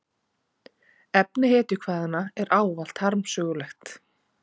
Efni hetjukvæðanna er ávallt harmsögulegt.